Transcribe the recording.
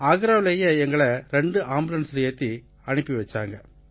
ஆக்ராவுலேயே எங்களை ரெண்டு ஆம்புலன்ஸ்ல ஏத்தி அனுப்பி வச்சாங்க